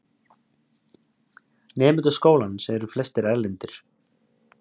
Nemendur skólans eru flestir erlendir